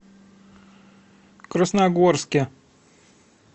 красногорске